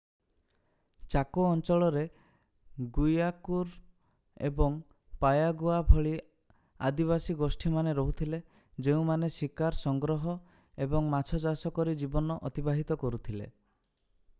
ଚାକୋ ଅଞ୍ଚଳରେ ଗୁଇଆକୁରୁ ଏବଂ ପାୟାଗୁଆ ଭଳି ଆଦିବାସୀ ଗୋଷ୍ଠୀମାନେ ରହୁଥିଲେ ଯେଉଁମାନେ ଶିକାର ସଂଗ୍ରହ ଏବଂ ମାଛ ଚାଷ କରି ଜୀବନ ଅତିବାହିତ କରୁଥିଲେ